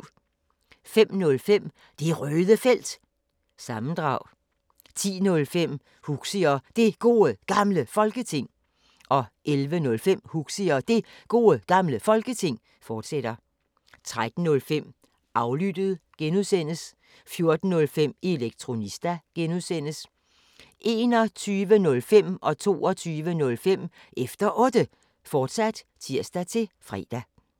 05:05: Det Røde Felt – sammendrag 10:05: Huxi og Det Gode Gamle Folketing 11:05: Huxi og Det Gode Gamle Folketing, fortsat 13:05: Aflyttet (G) 14:05: Elektronista (G) 21:05: Efter Otte, fortsat (tir-fre) 22:05: Efter Otte, fortsat (tir-fre)